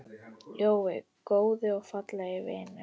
Jói, góði og fallegi vinur.